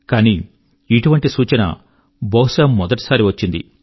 కానీ ఇటువంటి సూచన బహుశా మొదటి సారి వచ్చింది